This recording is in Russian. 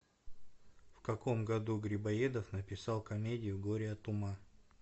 в каком году грибоедов написал комедию горе от ума